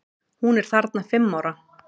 Hún er þarna fimm ára.